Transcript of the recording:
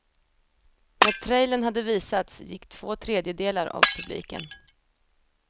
När trailern hade visats gick två tredjedelar av publiken.